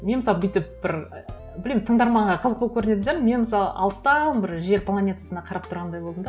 мен мысалы бүйтіп бір білмеймін тыңдарманға қызық болып көрінетін шығар мен мысалы алыстан бір жер планетасына қарап тұрғандай болдым да